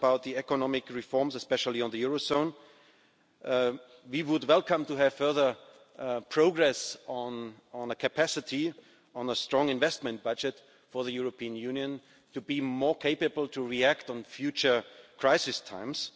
One is about the economic reforms, especially on the eurozone we would welcome to have further progress on the capacity for a strong investment budget for the European Union to be more capable to react in future crisis times.